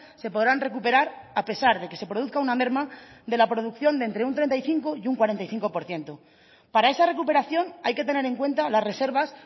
se podrán recuperar a pesar de que se produzca una merma de la producción de entre un treinta y cinco y un cuarenta y cinco por ciento para esa recuperación hay que tener en cuenta las reservas